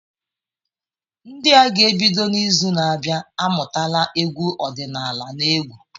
Ndị a ga-ebido n’izu na-abịa amụtala egwu ọdịnala na egwu.